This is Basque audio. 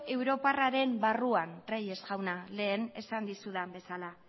europarraren barruan reyes jauna lehen esan dizudan bezala